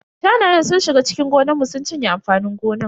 Shanayen sun shiga cikin gonan mu sun cinye amfanin gonan.